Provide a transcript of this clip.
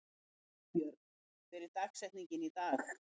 Nýbjörg, hver er dagsetningin í dag?